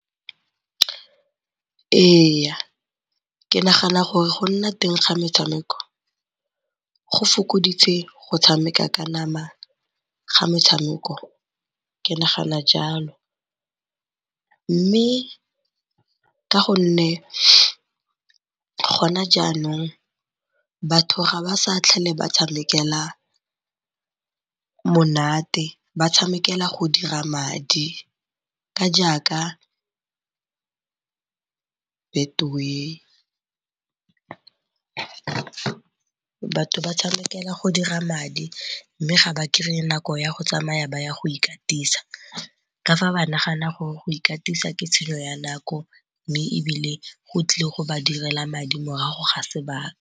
Ee, ke nagana gore go nna teng ga metshameko go fokoditse go tshameka ka namana ga metshameko ke nagana jalo. Mme ka gonne gona jaanong batho ga ba sa tlhole ba tshamekela monate ba tshamekela go dira madi ka jaaka Betway. Batho ba tshamekela go dira madi mme ga ba kry-e nako ya go tsamaya ba ya go ikatisa ka fa ba nagana gore go ikatisa ke tshenyo ya nako mme ebile go tlile go ba direla madi morago ga sebaka.